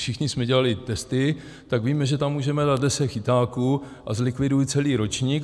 Všichni jsme dělali testy, tak víme, že tam můžeme dát deset chytáků, a zlikviduji celý ročník.